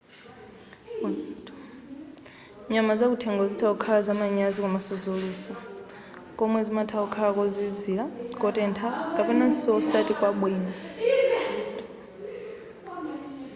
nyama zakuthengo zitha kukhala zamanyazi komanso zolusa komwe zimatha kukhala kozizira kotentha kapenanso osati kwabwino